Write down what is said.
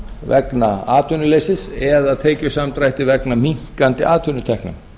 vegna atvinnuleysis eða tekjusamdrætti vegna minnkandi atvinnutekna